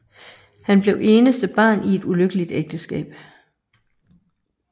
Han blev eneste barn i et ulykkeligt ægteskab